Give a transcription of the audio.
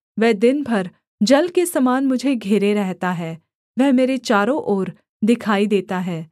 वह दिन भर जल के समान मुझे घेरे रहता है वह मेरे चारों ओर दिखाई देता है